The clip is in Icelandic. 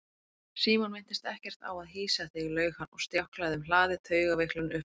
Símon minntist ekkert á að hýsa þig laug hann og stjáklaði um hlaðið, taugaveiklunin uppmáluð.